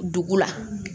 Dugu la